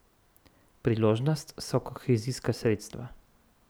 Priložnost so kohezijska sredstva.